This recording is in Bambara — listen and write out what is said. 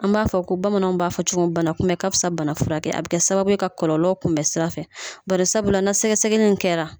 An b'a fɔ ko bamananw b'a fɔ cogo min bana kunbɛ ka fisa bana furakɛ ye, a bɛ kɛ sababu ye ka kɔlɔlɔ kunbɛn sira fɛ, barisabula n'a sɛgɛsɛnin kɛra